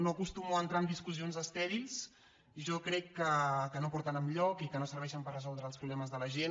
no acostumo a entrar en discussions estèrils jo crec que no porten enlloc i que no serveixen per resoldre els problemes de la gent